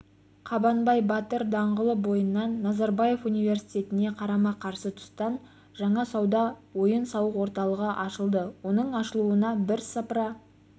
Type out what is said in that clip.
қабанбай батыр даңғылы бойынан назарбаев университетіне қарама-қарсы тұстан жаңа сауда ойын-сауық орталығы ашылды оның ашылуына бірсыпыра